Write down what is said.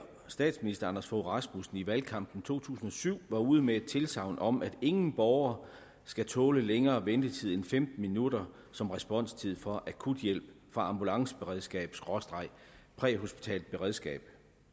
statsminister anders fogh rasmussen i valgkampen to tusind og syv var ude med tilsagn om at ingen borger skulle tåle længere ventetid end femten minutter som responstid for akuthjælp fra ambulanceberedskabpræhospitalt beredskab